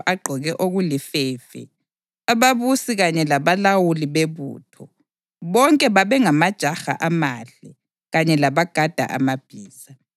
agqoke okulifefe, ababusi kanye labalawuli bebutho, bonke babengamajaha amahle, kanye labagada amabhiza.